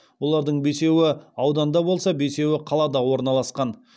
олардың бесеуі ауданда болса бесеуі қалада орналасқан